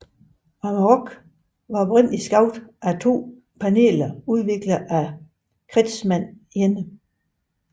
Amarok blev oprindelig skabt med to paneler udviklet af Kretschmann alene